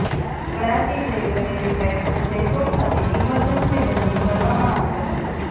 કરાચી જઈ રહેલી ફ્લાઈટનું જયપુર ખાતે ઈમરજન્સી લેન્ડિંગ કરવામાં આવ્યું હતું